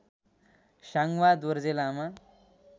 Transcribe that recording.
Sangwa Dorje Lama